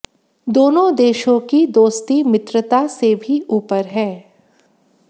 दोनों देशों की दोस्ती मित्रता से भी ऊपर है